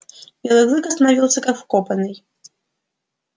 белый клык остановился как вкопанный